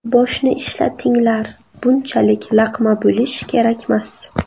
Boshni ishlatinglar, bunchalik laqma bo‘lish kerakmas.